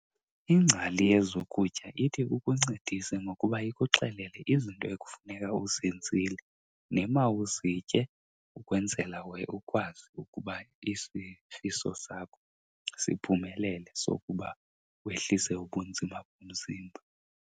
Ingcali yezokutya ithi ikuncedise ngokuba ikuxelele izinto ekufuneka uzenzile nemawuzitye ukwenzela ukwazi ukuba isifiso sakho siphumelele sokuba wehlise ubunzima bomzimba.